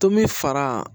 Tomi fara